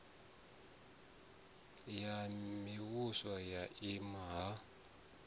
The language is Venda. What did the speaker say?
ya mivhuso ya nna ha